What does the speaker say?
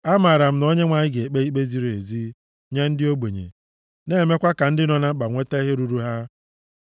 Amaara m na Onyenwe anyị ga-ekpe ikpe ziri ezi nye ndị ogbenye na-emekwa ka ndị nọ na mkpa nweta ihe ruuru ha.